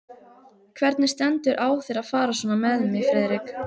Hvernig stendur á þér að fara svona með mig, Friðrik?